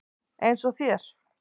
Eins og þér.